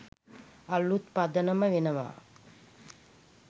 අළුත් පදනම වෙනවා.